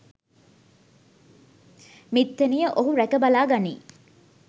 මිත්තණිය ඔහු රැක බලා ගනියි